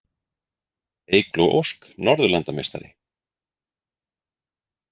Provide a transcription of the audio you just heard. Eygló Ósk Norðurlandameistari